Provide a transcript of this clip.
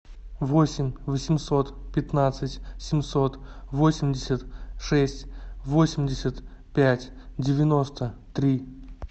восемь восемьсот пятнадцать семьсот восемьдесят шесть восемьдесят пять девяносто три